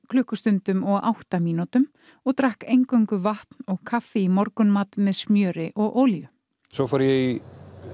klukkustundum og átta mínútum og drakk eingöngu vatn og kaffi í morgunmat með smjöri og olíu svo fór ég í